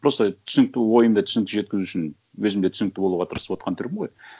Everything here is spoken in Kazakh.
просто түсінікті ойымды түсінікті жеткізу үшін өзім де түсінікті болуға тырысып отырған түрім ғой